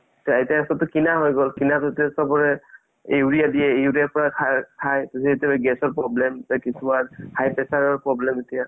এতিয়া চ'বতো কিনা হয় গ'ল কিনা চ'বৰে urea দিয়ে urea ৰ পৰা শাৰ যিতো gas ৰ problem কিছুমান high pressure ৰ problem এতিয়া